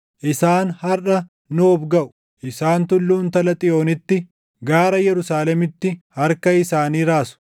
Isaan harʼa Noob gaʼu; isaan tulluu Intala Xiyoonitti, gaara Yerusaalemitti harka isaanii raasu.